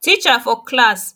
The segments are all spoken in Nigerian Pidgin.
teacher for class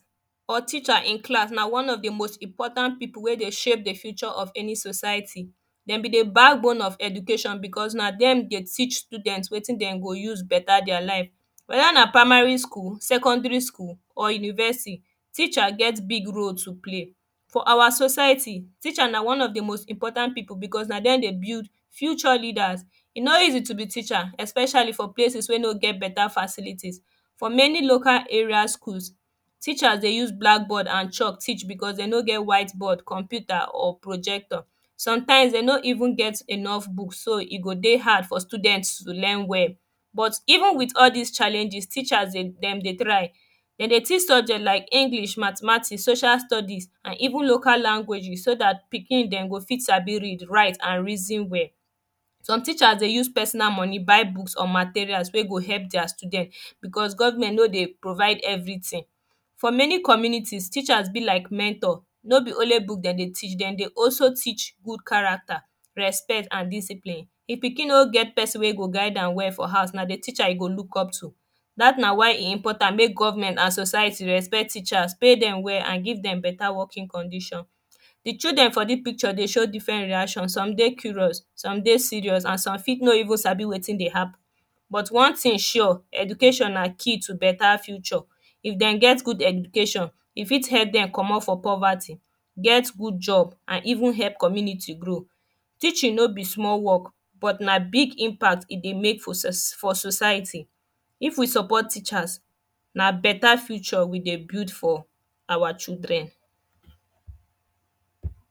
or teacher in class na one of the most important people wey dey shape the future of any society dem be the backbone of eductaion because na dem dey teach students wetin dem go use better their life weda na primary school or secondary school or university teacher get big role to play for our society, teacher na one of the very most important people becaue na dem dey build future leaders e no easy to be teacher epecially for place wey no get better facilities for many local area schools teachers dey use blackboard and chalk teach because de no get white board computer or projector sometimes dem no even get enouh books, e go dey hard ffor students to learn well but even with all this challenges, teachers dem dey try dem dey teach subjects like English Mathematics social studies and even local languages so that pikin dem go fit sabi read write and reason well some teacher dey use personal money buy books or materials wey go help their students because govment no dey provide evertin for many communities, teachers be like mentor no be only book dem dey teach, dem dey also teach good character respect and discipline if pikin no get person wey dey guide am well na the teacher e go look up to that na why e important make govment and society trespect teachers pay them well and ive them better working condition the children for this picture dey show diffren reaction, some dey curious, some dey serious and some fit no even sabi wetin dey happen but one thing sure, education na key to better future if dem get good education e fit help them comot for poverty get good job and even help community grow teaching no be small work but na big impacts e dey make for society if we support teachers na better future we dey build for our chilren